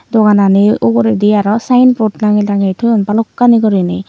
doganani uguredi aro sinebot tangey tangey toyoun balokkani guri ney.